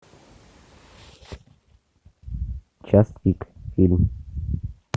час пик фильм